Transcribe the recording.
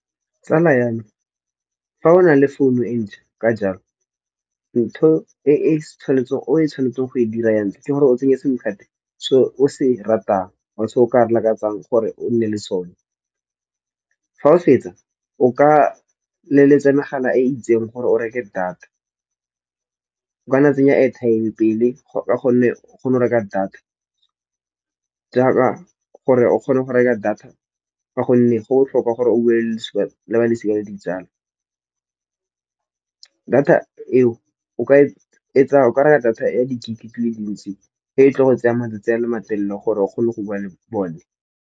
Tsala ya me fa o na le founu e ntšha ka jalo ntho e o e tshwanetseng go e dira ya ntlha, ke gore o tsenye sim card se o se ratang or se o ka se lakatsang gore o nne le sone. Fa o fetsa o ka leletsa megala e itseng gore o reke data. O kana wa tsenya airtime pele ka gonne o kgone go reka data. Jaaka gore o kgone go reka data ka gonne go botlhokwa gore o bue le balosika le ditsala. Data eo o ka reka data ya dikete dile dintsi e e tlo go tseyang matsatsi a le matelele gore o kgone go bua le bone.